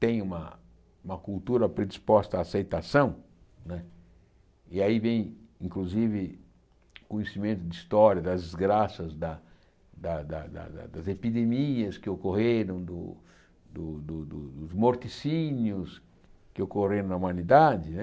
tem uma uma cultura predisposta à aceitação né, e aí vem, inclusive, conhecimento de história das desgraças, da da da das epidemias que ocorreram, do do dos morticínios que ocorreram na humanidade né.